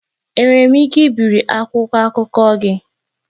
Enwere m ike ibiri akwụkwọ akụkọ gị?